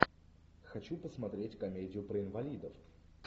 хочу посмотреть комедию про инвалидов